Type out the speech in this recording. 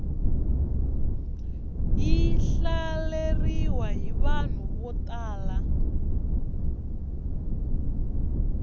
yi hlaleriwa hi vanhu vo tala